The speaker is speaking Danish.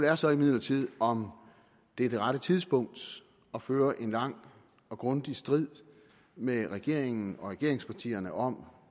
er så imidlertid om det er det rette tidspunkt at føre en lang og grundig strid med regeringen og regeringspartierne om